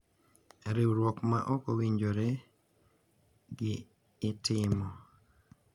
Riwruok ma ok owinjore gi itimo ,